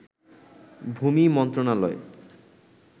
ভূমি মন্ত্রণালয়